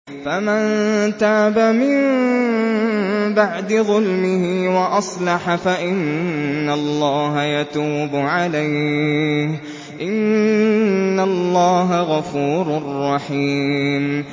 فَمَن تَابَ مِن بَعْدِ ظُلْمِهِ وَأَصْلَحَ فَإِنَّ اللَّهَ يَتُوبُ عَلَيْهِ ۗ إِنَّ اللَّهَ غَفُورٌ رَّحِيمٌ